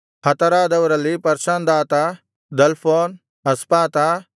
ಹತರಾದವರಲ್ಲಿ ಪರ್ಷಂದಾತ ದಲ್ಫೋನ್ ಅಸ್ಪಾತ